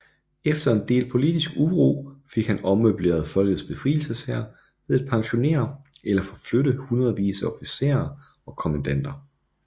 Efter en del politisk uro fik han ommøbleret Folkets Befrielseshær ved at pensionere eller forflytte hundredvis af officerer og kommandanter